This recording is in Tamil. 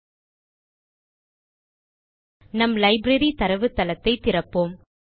ல்ட்பாசெக்ட் நம் லைப்ரரி தரவுத்தளத்தை திறப்போம்